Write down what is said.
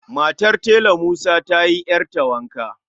Matar Tela musa ta yi ƴarta wanka